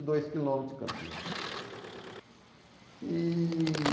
e dois quilômetros de Campinas. E...